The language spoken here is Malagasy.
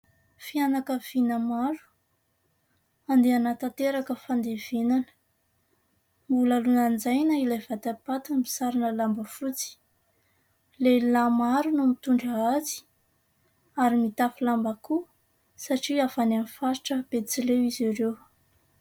Fianakaviana maro mandeha hanatanteraka fandevenana, mbola lanjaina ilay vatapaty misarona lamba fotsy. Lehilahy maro no mitondra azy ary mitafy lamba koa satria avy any amin'ny faritra Betsileo izy ireo.